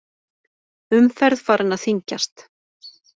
Umferð farin að þyngjast